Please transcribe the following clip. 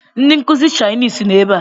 Ndi nkuzi chainisi no ebe a